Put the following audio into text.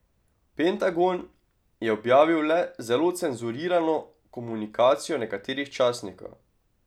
Pentagon je objavil le zelo cenzurirano komunikacijo nekaterih častnikov.